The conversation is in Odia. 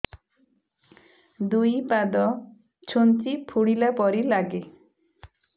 ଦୁଇ ପାଦ ଛୁଞ୍ଚି ଫୁଡିଲା ପରି ଲାଗେ